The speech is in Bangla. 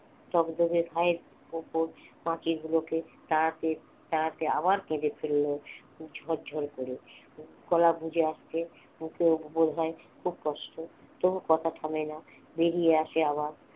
দগ দগে ঘায়ের ওপর মাছি গুলোকে তাড়াতে তাড়াতে আবার কেঁদে ফেলল ঝরঝর করে, গলা বুঝে আসছে বুকেও বোধহয় খুব কষ্ট। তবু কথা থামেনা বেরিয়ে আসে আবার